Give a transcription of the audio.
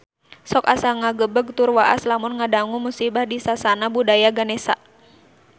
Sok asa ngagebeg tur waas lamun ngadangu musibah di Sasana Budaya Ganesha